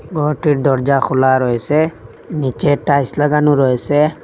ঘরটির দরজা খোলা রয়েসে নীচে টাইস লাগানো রয়েসে।